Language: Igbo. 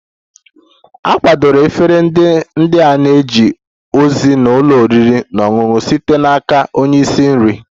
A kwadebere efere ndị a na-eje ozi n'ụlọ oriri na ọṅụṅụ site n'aka onye isi nri